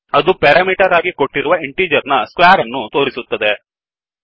ಅದು ಪೆರಮಿಟರ್ ಆಗಿ ಕೊಟ್ಟಿರುವ ಇಂಟಿಜರ್ ನ ಸ್ಕ್ವೇರ್ ಅನ್ನು ತೋರಿಸುತ್ತದೆ